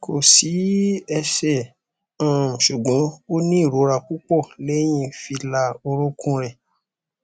ko si ese um ṣugbọn oni irora pupọ̀ lẹyin fila orukun rẹ